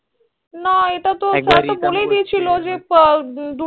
না এই তা তো বলেই দিয়ে ছিল যে